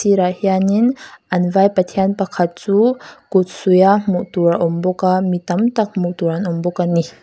a sirah hianin an vaipa pathian pakhat chu kut suih a hmuh tur a awm bawk a mi tam tak hmuh tur an awm bawk ani.